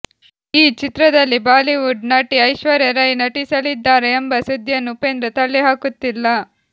ಈ ಚಿತ್ರದಲ್ಲಿ ಬಾಲಿವುಡ್ ನಟಿ ಐಶ್ವರ್ಯ ರೈ ನಟಿಸಲಿದ್ದಾರೆ ಎಂಬ ಸುದ್ದಿಯನ್ನು ಉಪೇಂದ್ರ ತಳ್ಳಿಹಾಕುತ್ತಿಲ್ಲ